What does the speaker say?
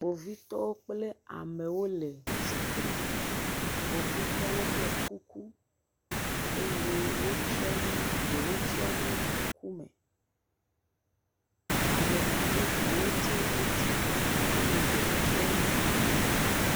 Kpovitɔwo kple amewo le tsi tre. Kpovitɔwo ɖɔ kuku eye wotsyɔnu, ɖewo tsyɔnu ŋkme. Ame a bubuwo tsɛ wotsi tre eye ɖewo tsyɔ nu mo.